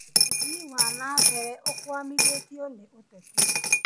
ũthii wa na mbere ũkwamithĩtio nĩ ateti